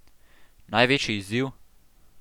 Največji izziv?